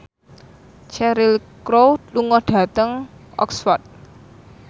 Cheryl Crow lunga dhateng Oxford